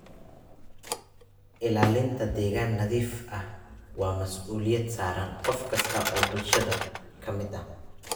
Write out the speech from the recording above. Ilaalinta deegaan nadiif ah waa masuuliyad saaran qof kasta oo bulshada ka mid ah.